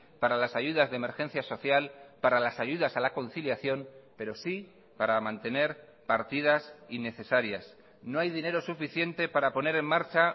para las ayudas de emergencia social para las ayudas a la conciliación pero sí para mantener partidas innecesarias no hay dinero suficiente para poner en marcha